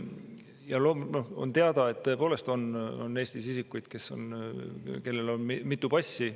Ja on teada, et tõepoolest on Eestis isikuid, kellel on mitu passi.